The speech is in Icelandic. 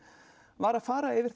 var að fara yfir